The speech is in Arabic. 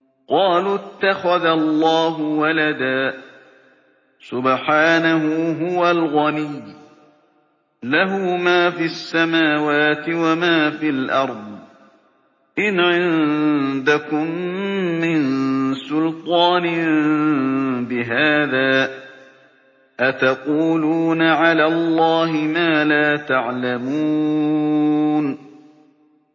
قَالُوا اتَّخَذَ اللَّهُ وَلَدًا ۗ سُبْحَانَهُ ۖ هُوَ الْغَنِيُّ ۖ لَهُ مَا فِي السَّمَاوَاتِ وَمَا فِي الْأَرْضِ ۚ إِنْ عِندَكُم مِّن سُلْطَانٍ بِهَٰذَا ۚ أَتَقُولُونَ عَلَى اللَّهِ مَا لَا تَعْلَمُونَ